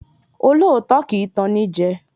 Olóòótọ́ kì í tan ni jẹ